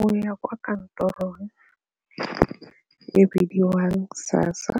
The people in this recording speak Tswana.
Go ya kwa kantorong e bidiwang SASSA